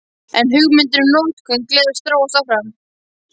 En hugmyndin um notkun glers þróast áfram.